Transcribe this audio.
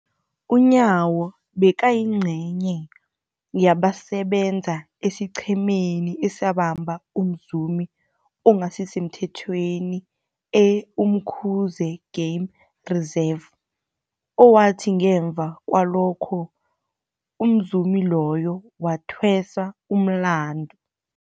UNyawo bekayingcenye yabasebenza esiqhemeni esabamba umzumi ongasisemthethweni e-Umkhuze Game Reserve, owathi ngemva kwalokho umzumi loyo wathweswa umlandu.